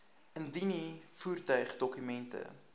indien u voertuigdokumente